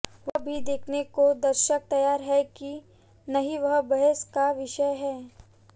वह भी देखने को दर्शक तैयार हैं कि नहीं वह बहस का विषय है